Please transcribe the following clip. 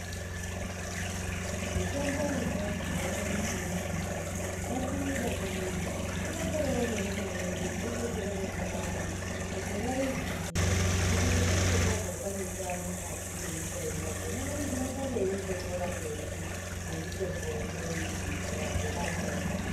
Mitombo yechianu yakanaka yamho. Ngatiidakarire, tironzerewo nevana vedu kweshe kwawanonge ari kuti vaiziye kuti isusu tazotamika mukati mwenyika ino vona vanozosare veita bhora mberi nemitombo ineyi kurapawo amweni.